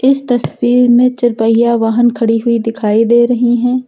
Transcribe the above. इस तस्वीर में चर पहिया वाहन खड़ी हुई दिखाई दे रही हैं।